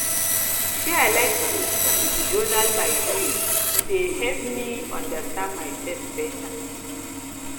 um i like to journal my dreams e dey help um me understand myself better